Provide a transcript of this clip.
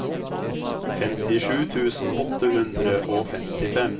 femtisju tusen åtte hundre og femtifem